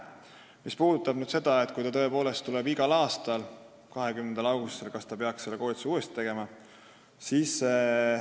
Aga nüüd sellest küsimusest, et kui inimene tõepoolest tuleb iga aasta 20. augustil, kas ta peab siis uuesti selle koolituse läbi tegema.